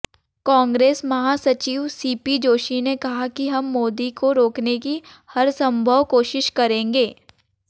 कांग्रेस महासचिव सीपी जोशी ने कहा कि हम मोदी को रोकने की हरसंभव कोशिश करेंगे